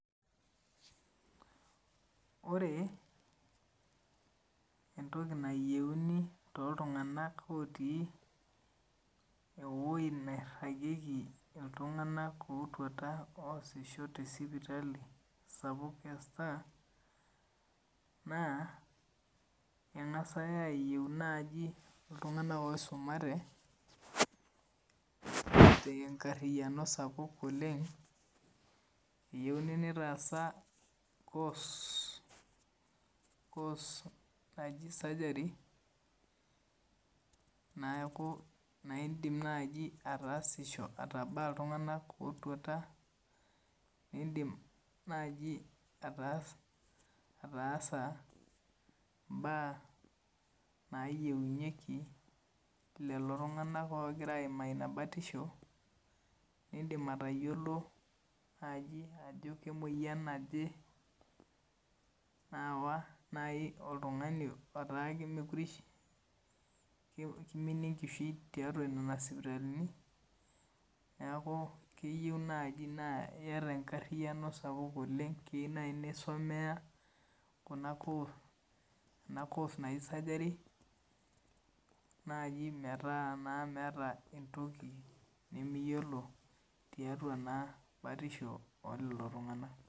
Ore entoki nayieuni toltungana otii ewoi nairagieki iltunganak otuata oosisho te sipitali sapuk e Star naa engasai ayie naaji iltunganak oisumate, tenkariyiano sapuk oleng eyieuni nitaasa course naaji surgery neeku indim naaji ataasisho atabaa iltunganak ootuata ,indiim naaji ataasa mbaa nayieunyeki lelo tunganak oogira aima ina baatisho indiim atayiolo naaji ajo kemoyian naaje naawa najii oltungani laata kemekure eishiu, keiminie enkishui tiatua nana sipitalini neeku keyeu naaji naa iata enkariyiano sapuk naleng keyie naa isomeya ena course naaji surgery naaji maata naa miata entoki nimiyiolo tiatua naa baatisho oo lolo tunganak.